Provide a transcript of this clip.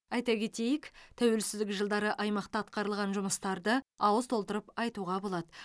айта кетейік тәуелсіздік жылдары аймақта атқарылған жұмыстарды ауыз толтырып айтуға болады